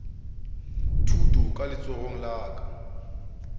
thuto ka letsogong la ka